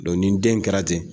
ni den kɛra ten